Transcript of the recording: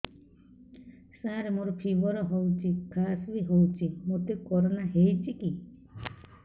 ସାର ମୋର ଫିବର ହଉଚି ଖାସ ବି ହଉଚି ମୋତେ କରୋନା ହେଇଚି କି